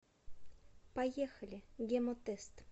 поехали гемотест